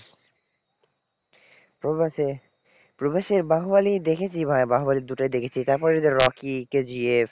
প্রভাসের প্রভাসের বাহুবলী দেখেছি ভাই বাহুবলীর দুটোই দেখেছি, তারপরে এই যে রকি কেজিএফ,